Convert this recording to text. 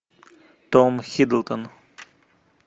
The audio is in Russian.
том хиддлстон